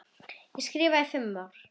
Ég skrifa þá fimm ár.